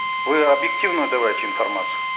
вы объективно давайте информацию